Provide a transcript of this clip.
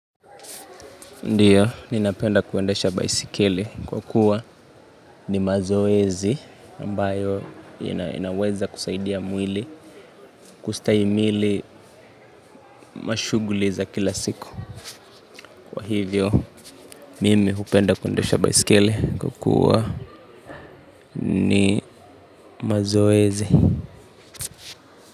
Ndiyo, ninapenda kuendesha baiskeli kwa kuwa ni mazoezi ambayo inaweza kusaidia mwili, kustahimili mashughuli za kila siku. Kwa hivyo, mimi hupenda kuendesha baiskeli kwa kuwa ni mazoezi.